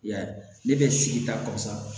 I y'a ye ne bɛ sigida kɔsa